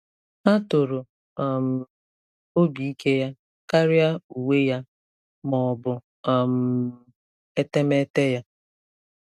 Ha toro um obi ike ya karịa uwe ya ma ọ bụ um etemeete ya.